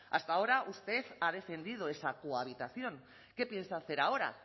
hasta ahora usted ha defendido esa cohabitación qué piensa hacer ahora